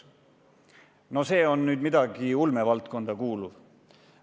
No see on küll midagi ulmevaldkonda kuuluvat.